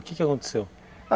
O que que aconteceu?